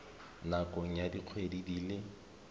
nakong ya dikgwedi di le